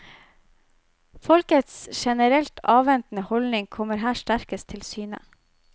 Folkets generelt avventende holdning kommer her sterkest til syne.